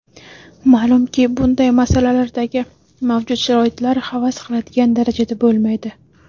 Ma’lumki, bunday muassasalardagi mavjud sharoitlar havas qiladigan darajada bo‘lmaydi.